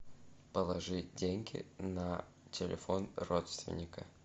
положи деньги на телефон родственника